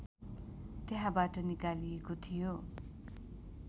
त्यहाँबाट निकालिएको थियो